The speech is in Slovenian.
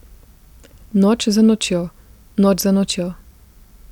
Noč za nočjo, noč za nočjo ...